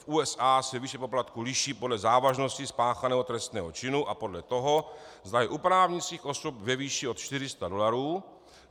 V USA se výše poplatků liší podle závažnosti spáchaného trestního činu a podle toho, zda je u právnických osob, ve výši od 400 dolarů.